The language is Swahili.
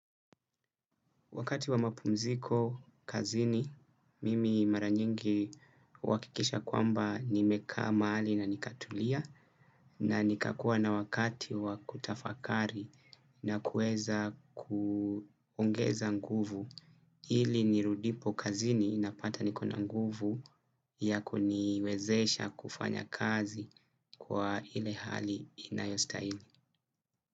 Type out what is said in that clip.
Wakati wa mapumziko kazini, mimi mara nyingi huwakikisha kwamba nimekaa mahali na nikatulia na nikakuwa na wakati wa kutafakari na kuweza kuongeza nguvu hili nirudipo kazini na pata niko na nguvu ya kuniwezesha kufanya kazi kwa hile hali inayostahili.